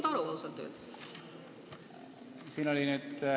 Ei ole ausalt öeldes aru saanud.